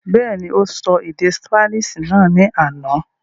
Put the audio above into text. Bẹ́ẹ̀ni, ó sọ èdè ṣípánísì náà ní àná.